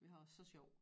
Vi har så sjov